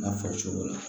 N'a fɔ cogo la